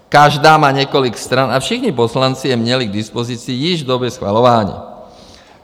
Každý má několik stran a všichni poslanci je měli k dispozici již v době schvalování.